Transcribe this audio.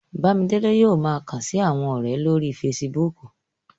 Bámidélé yóò ma kàn sí àwọn ọ̀rẹ̀ lórí Facebook